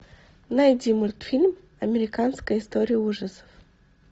найди мультфильм американская история ужасов